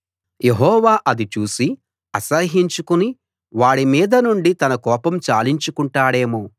యెహోవా అది చూసి అసహ్యించుకుని వాడి మీదనుండి తన కోపం చాలించుకుంటాడేమో